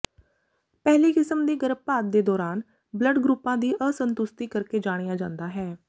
ਪਹਿਲੀ ਕਿਸਮ ਦੀ ਗਰਭਪਾਤ ਦੇ ਦੌਰਾਨ ਬਲੱਡ ਗਰੁੱਪਾਂ ਦੀ ਅਸੰਤੁਸਤੀ ਕਰਕੇ ਜਾਣਿਆ ਜਾਂਦਾ ਹੈ